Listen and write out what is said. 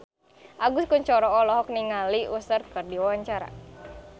Agus Kuncoro olohok ningali Usher keur diwawancara